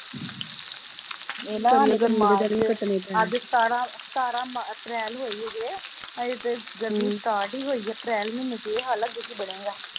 ਅੱਜ ਸਤਾਰਾਂ ਸਤਾਰਾਂ ਅਪਰੈਲ ਹੋਈ ਅਜੇ ਹਜੇ ਤੇ ਗਰਮੀ start ਹੋਈ ਈ ਅਪਰੈਲ ਮਹੀਨੇ ਵਿਚ ਇਹ ਹਾਲ ਆ ਅੱਗੇ ਕੀ ਬਣੇਗਾ